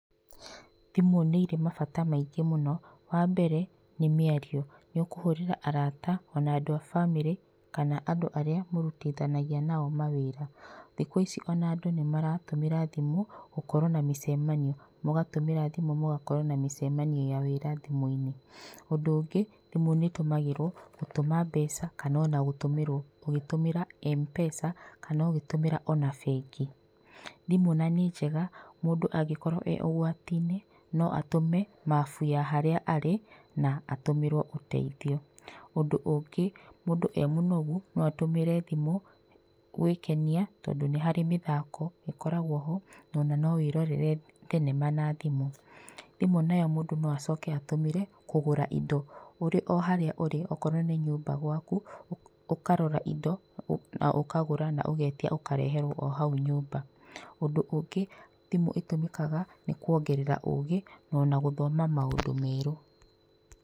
Thimũ nĩ irĩ mabata maingĩ mũno, wambere nĩ mĩario. Ni ũkũhũrĩra arata o na andũ a bamĩrĩ kana andũ arĩa mũrutithanagia na o mawĩra. Thikũ ici o na andũ nĩ maratũmĩra thimũ gũkorwo na mĩcemanio. Mũgatũmĩra thimũ mũgakorwo na mĩcemanio ya wĩra thimũ-inĩ. Ũndũ ũngĩ, thimũ nĩ ĩtũmagĩrwo gũtũma mbeca kana o na gũtũmĩrwo ũgĩtũmĩra Mpesa kana ũgĩtũmĩra o na bengi. Thimũ na nĩ njega mũndũ angĩkorwo e ũgwati-inĩ no atũme mabu ya harĩa arĩ na atũmĩrwo ũteithio. Ũndũ ũngĩ mũndũ e mũnogu no atũmĩre thimu gwĩkenia tondũ nĩ harĩ mĩthako ĩkoragwo ho na no wĩrorere thenema na thimũ. Thimũ nayo mũndũ no acoke atũmĩre kũgũra indo ũrĩ o harĩa ũrĩ okorwo nĩ nyũmba gwaku, ũkarora indo na ũkagura na ũgetia ũkareherwo o hau nyũmba. Ũndũ ũngĩ thimũ ĩtũmĩkaga nĩ kuongerera ũgĩ na gũthoma maũndũ merũ.